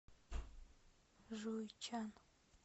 жуйчан